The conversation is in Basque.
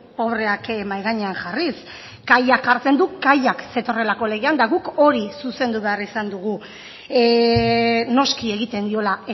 pobreak mahai gainean jarriz kaiak jartzen du kaiak zetorrelako legean eta guk hori zuzendu behar izan dugu noski egiten diola